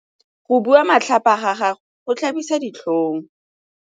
Go bua matlhapa ga gagwe go tlhabisa ditlhong.